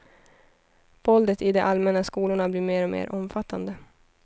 Våldet i de allmänna skolorna blir mer och mer omfattande.